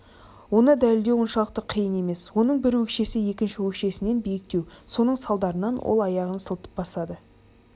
оны дәлелдеу оншалықты қиын емес оның бір өкшесі екінші өкшесінен биіктеу соның салдарынан ол аяғын сылтып басады